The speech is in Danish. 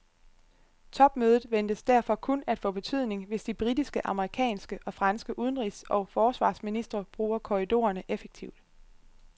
Topmødet ventes derfor kun at få betydning, hvis de britiske, amerikanske og franske udenrigs og forsvarsministre bruger korridorerne effektivt.